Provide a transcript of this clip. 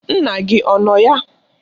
Nna gị ọ nọ ya?